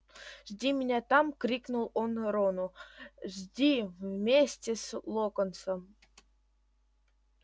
жди меня там крикнул он рону жди вместе с локонсом